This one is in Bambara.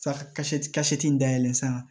in dayɛlɛ san